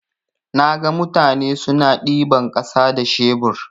Naga mutane suna ɗiban ƙasa da shebur.